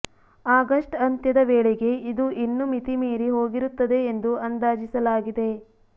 August ಅಂತ್ಯದ ವೇಳೆಗೆ ಇದು ಇನ್ನೂ ಮಿತಿ ಮೀರಿ ಹೋಗಿರುತ್ತದೆ ಎಂದು ಅಂದಾಜಿಸಲಾಗಿದೆ